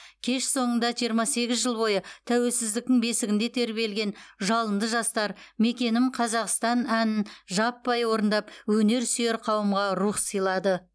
кеш соңында жиырма сегіз жыл бойы тәуелсіздіктің бесігінде тербелген жалынды жастар мекенім қазақстан әнін жаппай орындап өнерсүйер қауымға рух сыйлады